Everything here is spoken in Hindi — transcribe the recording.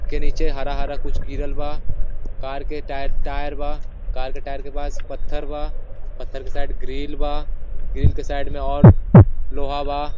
के नीचे हरा- हरा कुछ गिरल बा कार के टायर टायर बा कार का टायर के पास पत्थर बा पत्थर के साइड ग्रिल बा ग्रिल के साइड में और लोहा बा।